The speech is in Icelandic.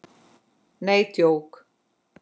Nei, djók.